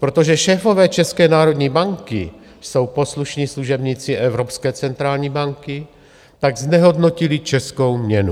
Protože šéfové České národní banky jsou poslušní služebníci evropské centrální banky, tak znehodnotili českou měnu.